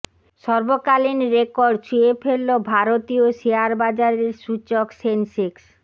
সর্বকালীন record ছুঁয়ে ফেলল ভারতীয় শেয়ার বাজারের সূচক সেনসেক্স